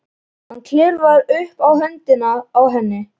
Hann klifrar upp á höndina á henni.